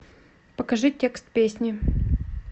покажи текст песни